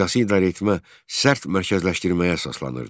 Siyasi idarəetmə sərt mərkəzləşdirməyə əsaslanırdı.